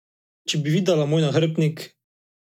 Če bi videla moj nahrbtnik!